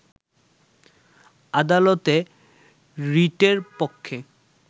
আদালতে রিটের পক্ষে